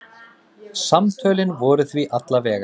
Samtölin voru því alla vega.